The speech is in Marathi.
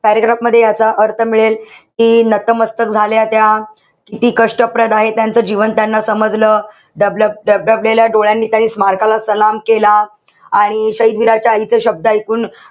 Paragraph मध्ये याचा अर्थ मिळेल. कि नतमस्तक झाल्या त्या, किती कष्टप्रद आहे त्यांचं जीवन त्यांना समजलं. ते डबडबल डबडबलेल्या डोळ्यांनी त्यांनी स्मारकाला सलाम केला. आणि शाहिद वीराच्या आईचे शब्द इकून,